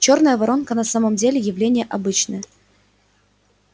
чёрная воронка на самом деле явление обычное